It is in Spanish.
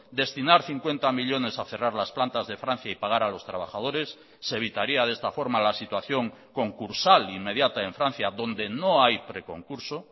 destinar cincuenta millónes a cerrar las plantas de francia y pagar a los trabajadores se evitaría de esta forma la situación concursal inmediata en francia donde no hay preconcurso